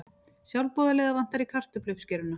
Sjálfboðaliða vantar í kartöfluuppskeruna